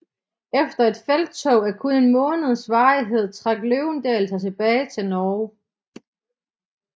Efter et felttog af kun en måneds varighed trak Løvendal sig tilbage til Norge